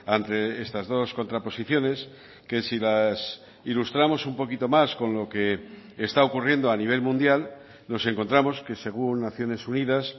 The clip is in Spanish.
ante estas dos contraposiciones que si las ilustramos un poquito más con lo que está ocurriendo a nivel mundial nos encontramos que según naciones unidas